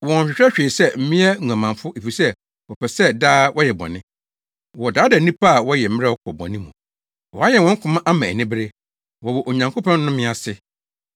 Wɔnhwehwɛ hwee sɛ mmea nguamanfo efisɛ wɔpɛ sɛ daa wɔyɛ bɔne. Wɔdaadaa nnipa a wɔyɛ mmerɛw kɔ bɔne mu. Wɔayɛn wɔn koma ama anibere. Wɔwɔ Onyankopɔn nnome ase.